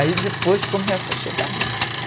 Aí depois começa a chegar gente.